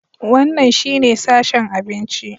Wannan shine sashen abinci.